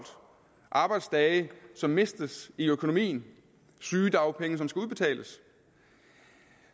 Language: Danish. arbejdsdage som mistes i økonomien og sygedagpenge som skal udbetales